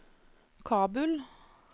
Kabul